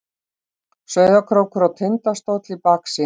Sauðárkrókur og Tindastóll í baksýn.